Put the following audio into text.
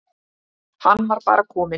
Hann var bara kominn.